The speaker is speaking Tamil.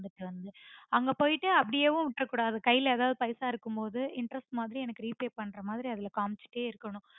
நீங்க வந்துட்டு அங்க போயிட்டு அப்புடியேவும் விற்றக்கூடாது கைல எதாவது பைசா இருக்கும்போது interest மாதிரி எனக்கு repay பண்றமாதிரி அதுல காமிச்சிட்டே இருக்கனும்